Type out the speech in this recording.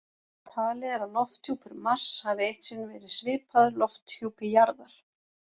Talið er að lofthjúpur Mars hafi eitt sinn verið svipaður lofthjúpi jarðar.